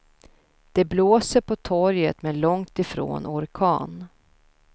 Det blåser på torget, men långtifrån orkan.